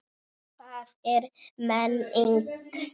Og hvað er menning?